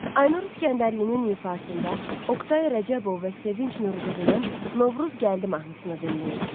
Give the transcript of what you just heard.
Aynur İsgəndərlinin ifasında Oktay Rəcəbov və Sevinc Nurqızının Novruz gəldi mahnısını dinləyin.